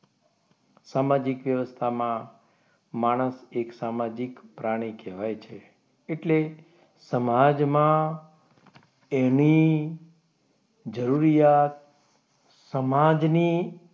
સામાજિક વ્યવસ્થામાં માણસ એક સામાજિક પ્રાણી કહેવાય છે એટલે સમાજમાં એને જરૂરિયાત સમાજને,